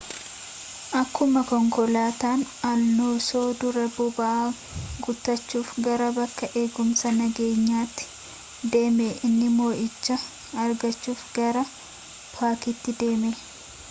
akkumaa konkolaatan aloonsoo duraa boba'aa guutachuuf gara bakka eegumsaa nageenyatti deeme inni moo'icha argaachuf gara paakitii deeme